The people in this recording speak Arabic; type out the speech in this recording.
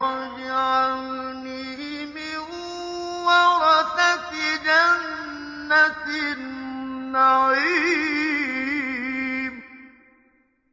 وَاجْعَلْنِي مِن وَرَثَةِ جَنَّةِ النَّعِيمِ